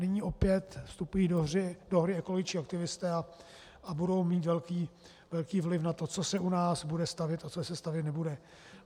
Nyní opět vstupují do hry ekologičtí aktivisté a budou mít velký vliv na to, co se u nás bude stavět a co se stavět nebude.